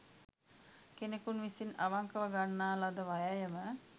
කෙනෙකුන් විසින් අවංකව ගන්නා ලද වෑයම